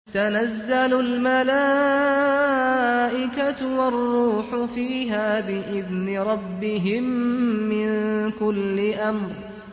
تَنَزَّلُ الْمَلَائِكَةُ وَالرُّوحُ فِيهَا بِإِذْنِ رَبِّهِم مِّن كُلِّ أَمْرٍ